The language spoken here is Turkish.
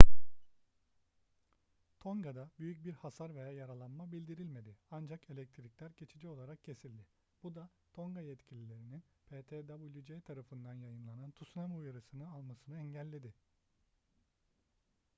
tonga'da büyük bir hasar veya yaralanma bildirilmedi ancak elektrikler geçici olarak kesildi bu da tonga yetkililerinin ptwc tarafından yayınlanan tsunami uyarısını almasını engelledi